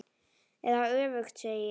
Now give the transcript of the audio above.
Eða öfugt, segi ég.